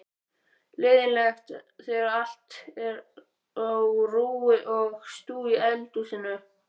Leiðinlegt þegar allt er á rúi og stúi í eldhúsinu.